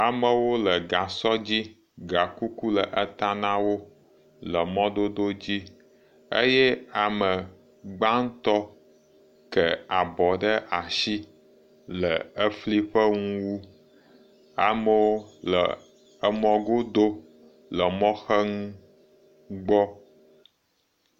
Amewo le gasɔ dzi gakuku le eta na wo le mɔ dodo dzi eye ame gbãtɔ̃ ke abɔ ɖe asi le efliƒe nuwu , amewo le amɔ godo le emɔxenu gbɔ.